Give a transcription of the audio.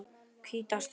hvíta stríð.